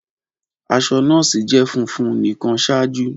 Aṣọ nọọsi jẹ funfun nikan ṣaaju.